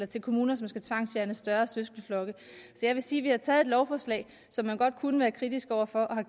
til kommuner som skal tvangsfjerne større søskendeflokke så jeg vil sige at vi har taget et lovforslag som man godt kunne være kritisk over for og